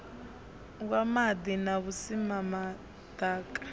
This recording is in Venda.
wa maḓi na vhusimama ḓaka